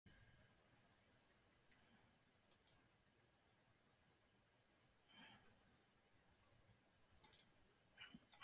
HVAÐ ER Í GANGI Á AKUREYRI?